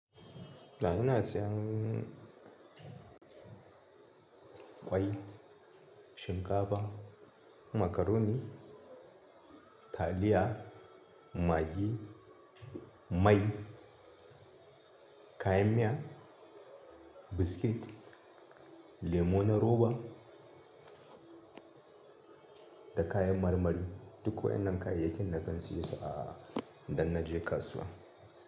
Da ina siyan ƙwai shinkafa makaroni taliya magi mai kayan miya biskit lemon na roba. Da kayan marmari. Duk wa ƴan nan kayayyakin da kan siyo su a idan na je kasuwa.